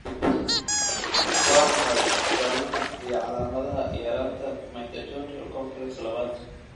Waa maxay astamaha iyo calaamadaha yaraanta Mitochondrial complex labad?